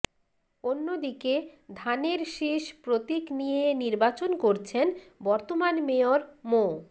অন্যদিকে ধানের শীষ প্রতীক নিয়ে নির্বাচন করছেন বর্তমান মেয়র মো